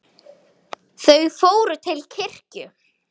Þau fór til kirkju.